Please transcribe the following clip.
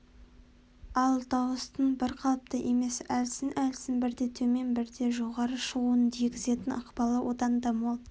ал дауыстың бірқалыпты емес әлсін-әлсін бірде төмен бірде жоғары шығуының тигізетін ықпалы одан да мол